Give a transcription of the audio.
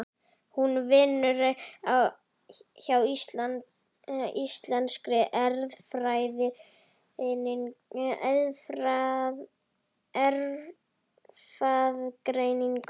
Hún vinnur hjá Íslenskri erfðagreiningu.